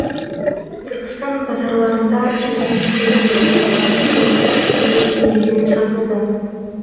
түркістан базарларында жүз елу теңгеден сатылатын пияздар елу үш теңгеден сатылды